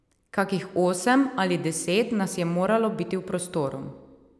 Kakih osem ali deset nas je moralo biti v prostoru.